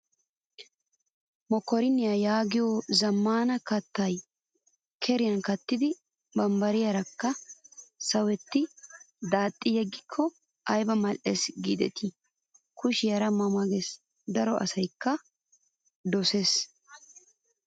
Mokkorinniyaa yaagiyoo zammaana kattaa keriyaa kattidi bambbariyaakka sawetti daaxxidi yeggikko ayiba mal''es giideti kushiyaara ma ma ges. daro asayikka doses.